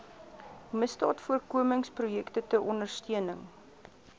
misdaadvoorkomingsprojekte ter ondersteuning